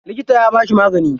Likita ya bashi magani.